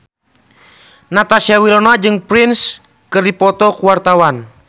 Natasha Wilona jeung Prince keur dipoto ku wartawan